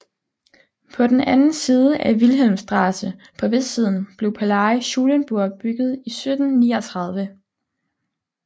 På den anden side af Wilhelmstraße på vestsiden blev Palais Schulenburg bygget i 1739